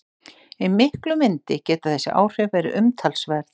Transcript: Í miklum vindi geta þessi áhrif verið umtalsverð.